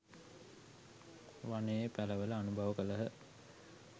වනයේ පලවැල අනුභව කළහ